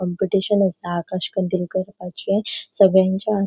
कम्पिटिशन आसा आकाश कंदिल कर्पाचे सगळ्यांचे.